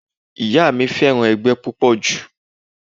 Ìyá mi fẹ́ràn ẹgbẹ́ púpọ̀ jù